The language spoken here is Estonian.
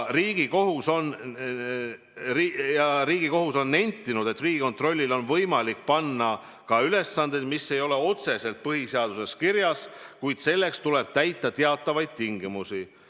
Riigikohus on nentinud, et Riigikontrollile on võimalik panna ka ülesandeid, mis ei ole otseselt põhiseaduses kirjas, kuid selleks peavad olema täidetud teatavad tingimused.